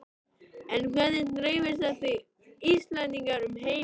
En hvernig dreifast þessi Íslendingar um heiminn?